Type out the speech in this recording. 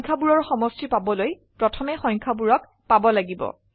সংখ্যায়বোৰৰ সমষ্টি পাবলৈ প্ৰথমে সংখ্যাবোৰক পাব লাগিব